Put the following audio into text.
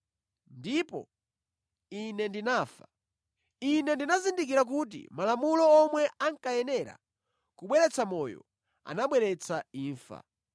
ndipo ine ndinafa. Ine ndinazindikira kuti Malamulo omwe ankayenera kubweretsa moyo anabweretsa imfa.